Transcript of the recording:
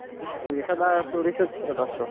म्हणजे सदा तो research च करत असतो.